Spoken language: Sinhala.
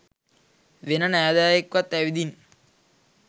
වෙන නෑදෑයෙක්වත් ඇවිදින්